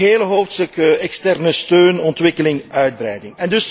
Het hele hoofdstuk externe steun, ontwikkeling, uitbreiding.